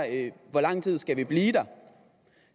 hvor lang tid vi skal blive der